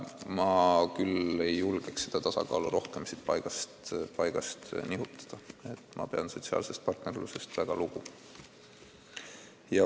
Ma küll ei julgeks seda tasakaalu rohkem paigast nihutada, ma pean sotsiaalsest partnerlusest väga lugu.